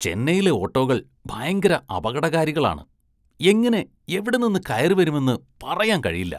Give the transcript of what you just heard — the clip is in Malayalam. ചെന്നൈയിലെ ഓട്ടോകള്‍ ഭയങ്കര അപകടകാരികളാണ്, എങ്ങനെ എവിടെ നിന്ന് കയറിവരുമെന്ന് പറയാന്‍ കഴിയില്ല.